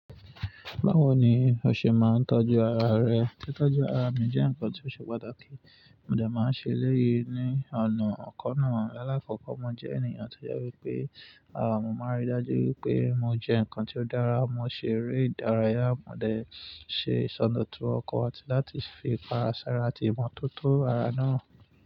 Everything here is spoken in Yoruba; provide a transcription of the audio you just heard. Báwo ni o ṣe máa ń tọ́jú ara rẹ? Tí tọ́jú ara mi jẹ́ nǹkan tí ó ṣe pàtàkì, mo dẹ̀ máa ń ṣe eléyi ní ọ̀nà ọ̀kan náà. Láàkọ́kọ́, mo jẹ́ ènìyàn tó yẹ wípé ara mo máa rí dájú wípé mo jẹ nǹkan tí ó dára, mo se ere ìdárayá, mo dẹ̀ ṣe ìsọdọ̀tun ọkọ̀ àti láti fi ipara sára àti ìmo tó tó ara náà.